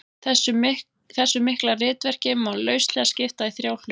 Þessu mikla ritverki má lauslega skipta í þrjá hluta.